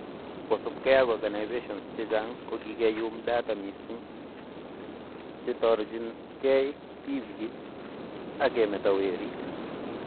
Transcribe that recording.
Kosubkei ak organisations che chang' ko kikeyuum data missing cheitorjingei tibiik ak kemeto werik